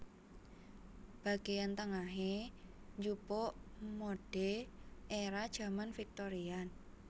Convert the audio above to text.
Bagéan tengahée njupuk modhèe éra jaman Victorian